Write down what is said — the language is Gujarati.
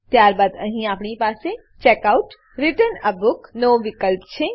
ત્યારબાદ અહીં આપણી પાસે checkoutરિટર્ન a book checkout return a book નો વિકલ્પ છે